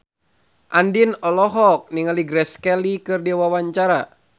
Andien olohok ningali Grace Kelly keur diwawancara